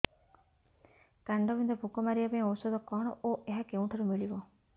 କାଣ୍ଡବିନ୍ଧା ପୋକ ମାରିବା ପାଇଁ ଔଷଧ କଣ ଓ ଏହା କେଉଁଠାରୁ ମିଳିବ